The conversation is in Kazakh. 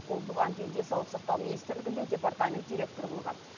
ол бұған дейін денсаулық сақтау министрлігінде департамент директоры болған